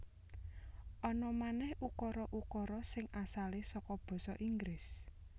Ana manèh ukara ukara sing asale saka basa Inggris